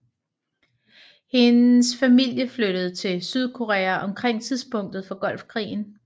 Hendes familie flyttede til Sydkorea omkring tidspunktet for Golfkrigen